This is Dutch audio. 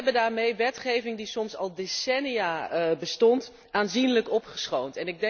We hebben daarmee wetgeving die soms al decennia bestond, aanzienlijk opgeschoond.